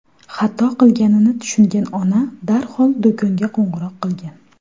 Xato qilganini tushungan ona darhol do‘konga qo‘ng‘iroq qilgan.